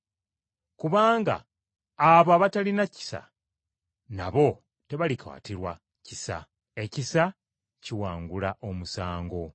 Kubanga abo abatalina kisa, nabo tebalikwatirwa kisa. Ekisa kiwangula omusango.